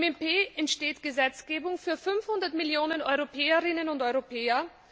Im EP entsteht Gesetzgebung für 500 Millionen Europäerinnen und Europäer.